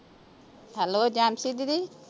Hello Jansi ਦੀਦੀ!